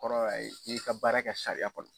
kɔrɔ y'a ye i y'i ka baara kɛ sariya kɔnɔ.